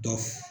Dɔ